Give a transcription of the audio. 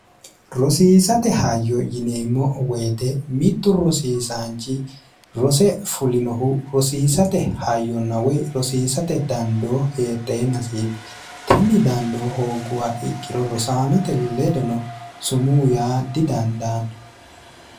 rosiisate hayyo yineemmo woyite mittu rosiisaanchi rose fulinohu rosiisate hayyonawey rosiisate dandoo heedheennasiiti tinni dandoo hoogguha ikkiro rosaanote ledono sumuu yaa didandaanno